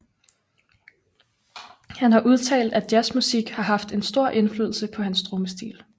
Han har udtalt at jazzmusik har haft en stor indflydelse på hans trommestil